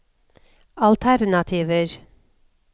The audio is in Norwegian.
alternativer